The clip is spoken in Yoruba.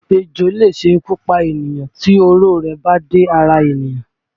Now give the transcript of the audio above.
Ejò lè ṣe ikú pa ènìyàn tí oró rẹ̀ bá dé ara ènìyàn